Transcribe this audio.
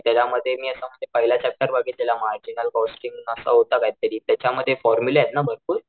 त्याच्यामध्ये मी असं म्हणजे पहिला चॅप्टर बघितलेला मॅजिकल कॉस्टिंग असं होत काय तरी त्याच्या मध्ये फॉर्मुलेत ना भरपूर?